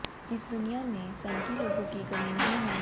इस दुनिया में सनकी लोगों की कमी नहीं है